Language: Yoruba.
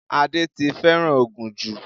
Adé ti fẹ́ràn ògùn jù